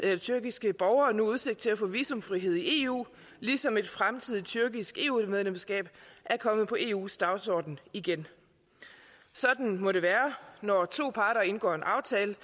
har tyrkiske borgere nu udsigt til at få visumfrihed i eu ligesom et fremtidigt tyrkisk eu medlemskab er kommet på eus dagsorden igen sådan må det være når to parter indgår en aftale